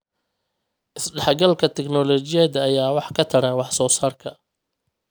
Isdhexgalka tignoolajiyada ayaa wax ka tara wax soo saarka.